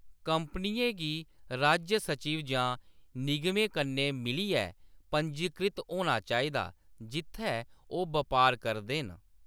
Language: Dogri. कंपनियें गी राज्य सचिव जां निगमें कन्नै मिलियै पंजीकृत होना चाहिदा जित्थै ओह्‌‌ बपार करदे न।